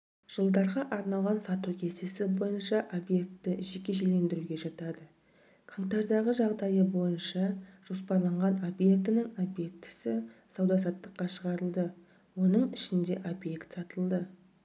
жж арналған сату кестесі бойынша объекті жекешелендіруге жатады қаңтардағы жағдайы бойынша жоспарланған объектінің объектісі сауда саттыққа шығарылды оның ішінде объект сатылды